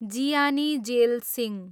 Jiyani Zail Singh